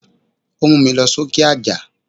Ó múmi lọ sókè àjà.